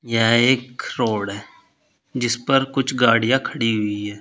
यह एक रोड है जिस पर कुछ गाड़ियां खड़ी हुई है।